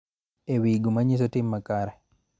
E wi gima nyiso tim makare.